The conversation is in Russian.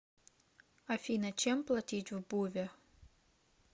афина чем платить в буве